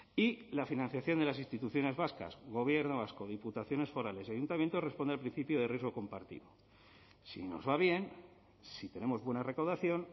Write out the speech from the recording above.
y la financiación de las instituciones vascas gobierno vasco diputaciones forales y ayuntamientos responde al principio de riesgo compartido si nos va bien si tenemos buena recaudación